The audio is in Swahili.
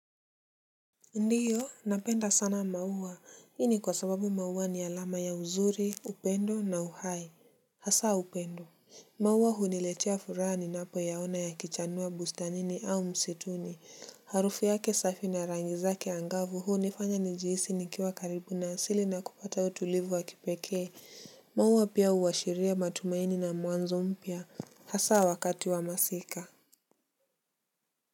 Ndiyo napenda sana maua ini kwa sababu maua ni alama ya uzuri upendo na uhai hasa upendo maua huniletea furaha ninapoyaona yakichanua bustanini au msituni harufi yake safi na rangi zake angavu huu nifanya njihisi nikiwa karibu na sili na kupata utulivu wa kipekee maua pia uashiria matumaini na mwanzo mpya hasa wakati wa masika Muzika.